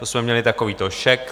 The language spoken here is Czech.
To jsme měli takovýto šek.